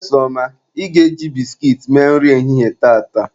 Mmesoma, ị ga-eji biskit mee nri ehihie tata!